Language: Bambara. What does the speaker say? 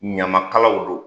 Ɲamakalaw don